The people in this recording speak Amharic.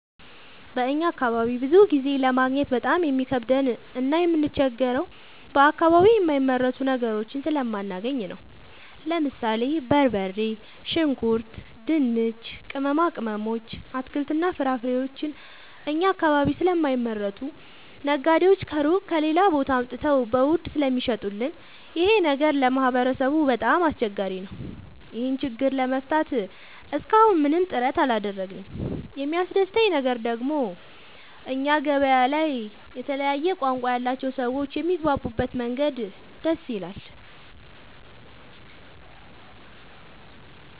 በእኛ አካባቢ ብዙ ጊዜ ለማግኘት በጣም የሚከብደን እና የምንቸገረው በአከባቢው የማይመረቱ ነገሮችን ስለማናገኝ ነው። ለምሳሌ፦ በርበሬ፣ ሽንኩርት፣ ድንች፣ ቅመማ ቅመሞች፣ አትክልትና ፍራፍሬዎችን እኛ አካባቢ ስለማይመረቱ ነጋዴዎች ከሩቅ(ከሌላ ቦታ) አምጥተው በውድ ስለሚሸጡልን ይኸ ነገር ለማህበረሰቡ በጣም አስቸጋሪ ነው። ይህን ችግር ለመፍታት እሰከ አሁን ምንም ጥረት አላደረግንም። የሚያስደሰተኝ ደግሞ እኛ ገበያ ላይ የተለያየ ቋንቋ ያላቸው ሰዎች የሚግባቡበት መንገድ ደስ ይላል።